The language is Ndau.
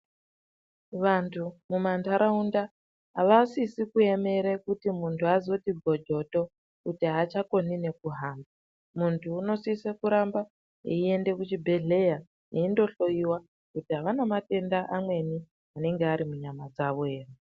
Vantu mumandaraunda avasisi kuemera kuti muntu azoti bhozvoto kuti achakoni nekuhamba muntu unosise kuenda kuchibhedhlera eindohloiwa kuti ana matenda amweni anenge ari munyama dzavo ere.